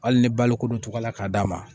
Hali ni balokodon tɔgɔ la k'a d'a ma